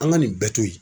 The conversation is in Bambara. An ka nin bɛɛ to yen